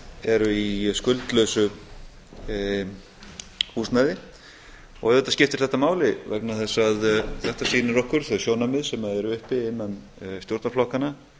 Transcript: eru í skuldlausu húsnæði og auðvitað skiptir þetta máli vegna þess að þetta sýnir okkur þau sjónarmið sem eru uppi innan stjórnarflokkanna